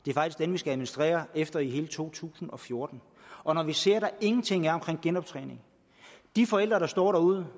det er faktisk den vi skal administrere efter i hele to tusind og fjorten og vi ser at der ingenting er om genoptræning de forældre der står derude